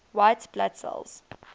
white blood cells